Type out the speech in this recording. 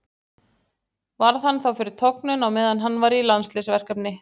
Varð hann þá fyrir tognun á meðan hann var í landsliðsverkefni.